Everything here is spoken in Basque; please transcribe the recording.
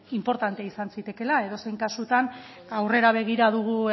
inportante izan zitekeela edozein kasutan aurrera begira dugu